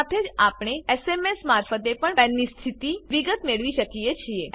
સાથે જ આપણે એસએમએસ મારફતે પણ પાન પેન સ્થિતિ વિગત મેળવી શકીએ છીએ